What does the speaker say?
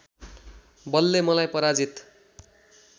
बलले मलाई पराजित